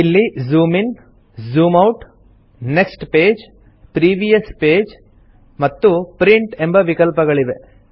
ಇಲ್ಲಿ zoom in zoom out next page previous page ಮತ್ತು print ಎಂಬ ವಿಕಲ್ಪಗಳಿವೆ